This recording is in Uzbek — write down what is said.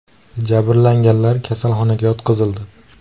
Jabrlanganlar kasalxonaga yotqizildi.